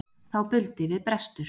Þá buldi við brestur.